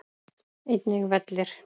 Einnig vellir.